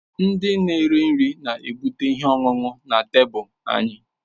ndị na-ere nri na-ebute ihe ọṅụṅụ na tebụl anyị.